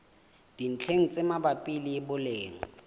dintlheng tse mabapi le boleng